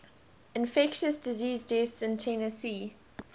infectious disease deaths in tennessee